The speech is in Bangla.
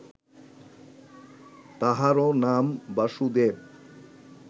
তাঁহারও নাম বাসুদেব